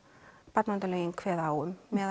barnaverndarlögin kveða á um meðal